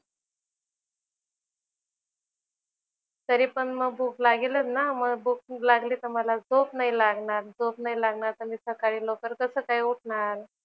तरी पण मग भूक लागेलच ना मग भूक खूप लागली तर मला झोप नाही लागणार. झोप नाही लागणार तर मी सकाळी लवकर कसं काय उठणार?